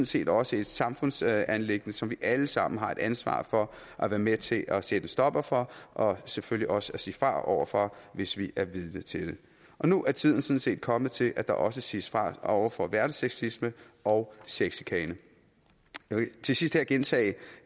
set også et samfundsanliggende som vi alle sammen har et ansvar for at være med til at sætte en stopper for og selvfølgelig også at sige fra over for hvis vi er vidne til det nu er tiden sådan set kommet til at der også siges fra over for hverdagssexisme og sexchikane jeg vil til sidst her gentage